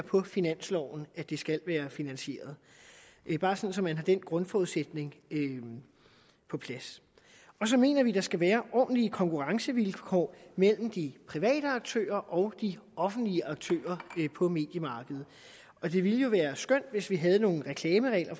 på finansloven at det skal finansieres det er bare så man har den grundforudsætning på plads så mener vi at der skal være ordentlige konkurrencevilkår mellem de private aktører og de offentlige aktører på mediemarkedet og det ville jo være skønt hvis vi havde nogle reklameregler